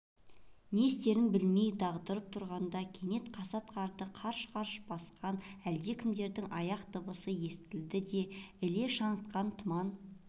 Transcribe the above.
не істерін білмей дағдарып тұрғанда кенет қасат қарды қарш-қарш басқан әлдекімдердің аяқ дыбысы естілді де іле шаңытқан тұман